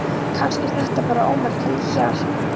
Kannski er þetta bara ómerkilegt hjal.